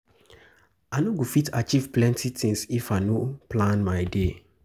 I no go fit achieve plenty tins if I no plan my day.